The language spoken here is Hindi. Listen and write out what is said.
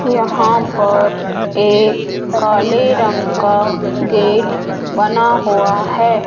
यहां पर एक काले रंग का गेट बना हुआ है।